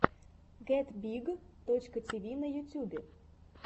гетбиг точка тиви на ютюбе